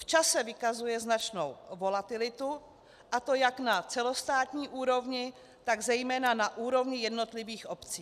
V čase vykazuje značnou volatilitu, a to jak na celostátní úrovni, tak zejména na úrovni jednotlivých obcí.